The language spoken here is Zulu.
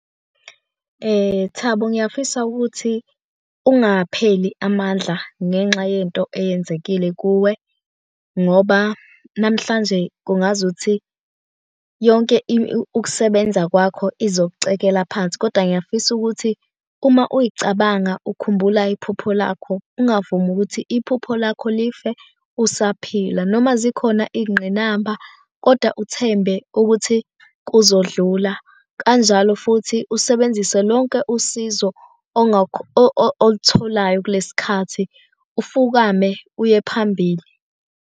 Thabo ngiyafisa ukuthi ungapheli amandla ngenxa yento eyenzekile kuwe ngoba namhlanje kungazuthi yonke ukusebenza kwakho izokucekela phansi koda ngiyafisa ukuthi uma uy'cabanga ukhumbula iphupho lakho, ungavumi ukuthi iphupho lakho life usaphila noma zikhona iy'ngqinamba koda uthembe ukuthi kuzodlula. Kanjalo futhi usebenzise lonke usizo olutholayo kulesi khathi, ufukame uye phambili.